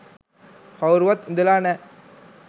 කවුරුවත් ඉඳලා නෑ